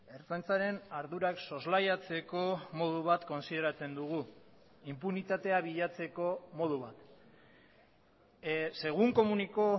ertzaintzaren ardurak soslaiatzeko modu bat kontsideratzen dugu inpunitatea bilatzeko modu bat según comunicó